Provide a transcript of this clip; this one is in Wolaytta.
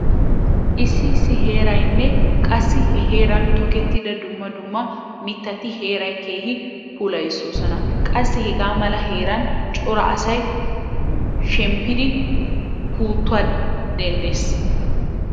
Issi issi heeraynne qassi he heeran tokettida dumma dumma mittati heeraa keehi puulayoosona. Qassi hegaa mala heeran cora asay shemppiiddi pootuwa denddees.